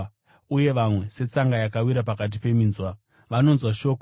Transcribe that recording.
Uye vamwe, setsanga yakawira pakati peminzwa, vanonzwa shoko;